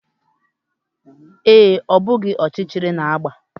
Ee, Obi gbara ọchịchịrị na agba